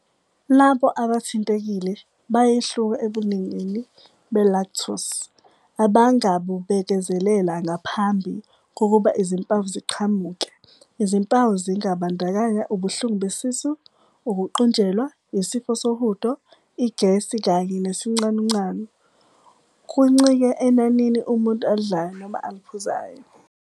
Labo abathintekile bayehluka ebuningini be-lactose abangabubekezelela ngaphambi kokuba izimpawu ziqhamuke Izimpawu zingabandakanya ubuhlungu besisu, ukuqunjelwa, isifo sohudo, igesi kanye nesicanucanu. kuncike enanini umuntu alidlayo noma aliphuzayo.